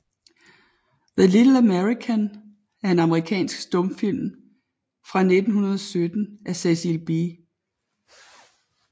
The Little American er en amerikansk stumfilm fra 1917 af Cecil B